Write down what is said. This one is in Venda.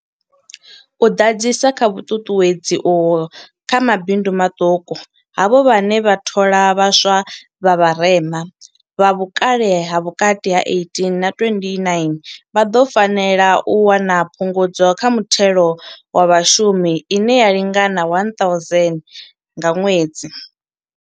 U ḓadzisa kha vhuṱuṱuwedzi uho kha mabindu maṱuku, havho vhane vha thola vhaswa vha vharema, vha vhukale ha vhukati ha 18 na 29, vha ḓo fanela u wana Phungudzo kha Muthelo wa Vhashumi ine ya lingana R1 000 nga ṅwedzi.